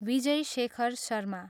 Vijay Shekhar Sharma